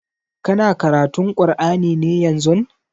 Kana karatun kur'ani ne yanzun?